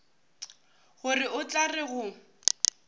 gore o tla re go